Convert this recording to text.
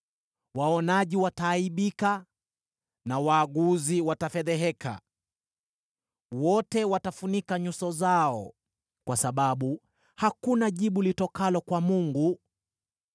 Waonaji wataaibika na waaguzi watafedheheka. Wote watafunika nyuso zao kwa sababu hakuna jibu litokalo kwa Mungu.”